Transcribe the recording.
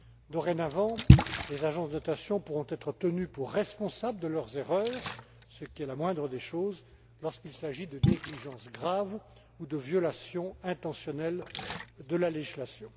Dorénavant, les agences de notation pourront être tenues pour responsables de leurs erreurs, ce qui est la moindre des choses, lorsqu'il s'agit de négligences graves ou de violations intentionnelles de la législation.